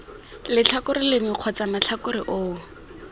letlhakore lengwe kgotsa matlhakore oo